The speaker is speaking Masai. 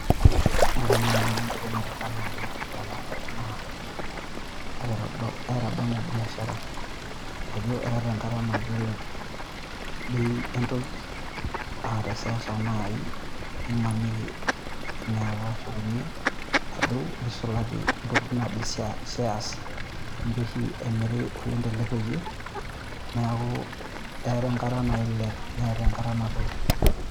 Ore naii Nanu entoki naitadamu Nanu ena tenadol naa kaitadamu biashara tenadol ajo eeta enkata naa kelelek Bei entoki aa teseuseu naii neisulaki entokitin' naaji cheas cheas, ninche oshi emiri oleng' tele rrekie neeku eeta enkata nailep neetae enkata nadou.